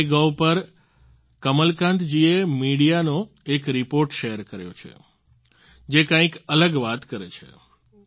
MyGov પર કમલકાંત જીએ મીડિયાનો એક રિપોર્ટ શેર કર્યો છે જે કંઈક અલગ વાત કરે છે